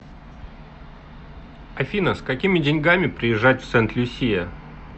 афина с какими деньгами приезжать в сент люсия